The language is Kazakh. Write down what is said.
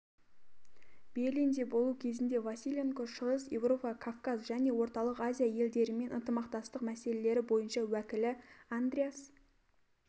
берлинде болу кезінде василенко шығыс еуропа кавказ және орталық азия елдерімен ынтымақтастық мәселелері бойынша уәкілі андреас